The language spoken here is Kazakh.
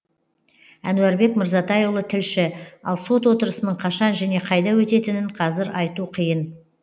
әнуарбек мырзатайұлы тілші ал сот отырысының қашан және қайда өтетінін қазір айту қиын